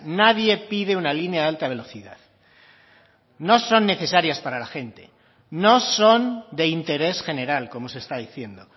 nadie pide una línea de alta velocidad no son necesarias para la gente no son de interés general como se está diciendo